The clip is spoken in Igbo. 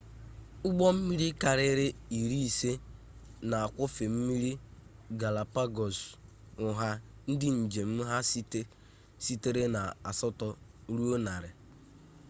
ụgbọ mmiri karịrị iri isii na-akwọfe mmiri galapagos nha ndị njem ha sitere na asatọ ruo narị